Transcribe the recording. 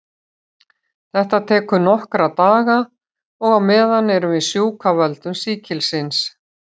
Þetta tekur nokkra daga og á meðan erum við sjúk af völdum sýkilsins.